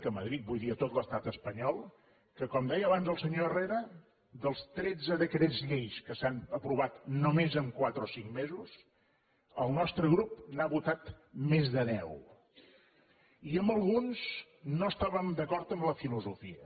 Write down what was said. a madrid vull dir a tot l’estat espanyol que com deia abans el senyor herrera dels tretze decrets llei que s’han aprovat només en quatre o cinc mesos el nostre grup n’ha votat més de deu i en alguns no estàvem d’acord amb la filosofia